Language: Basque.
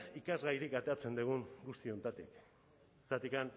ikasgairik ateratzen dugun guzti honetatik zergatik